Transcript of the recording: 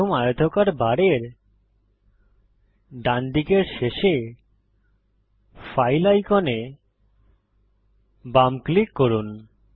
প্রথম আয়তকার বারের ডানদিকের শেষে ফাইল আইকনে বাম ক্লিক করুন